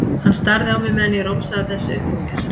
Hann starði á mig meðan ég romsaði þessu upp úr mér.